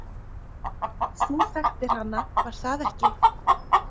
Þú þekktir hana, var það ekki?